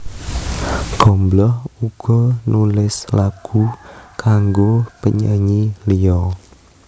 Gombloh uga nulis lagu kanggo penyanyi liya